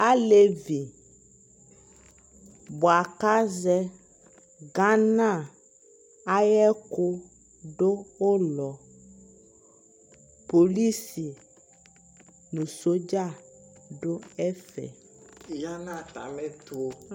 alɛvi bʋa kʋ azɛ Ghana ayɛkʋ dʋ ʋlɔ, polisi nʋ soldier dʋ ɛƒɛ yanʋ atami ɛtʋ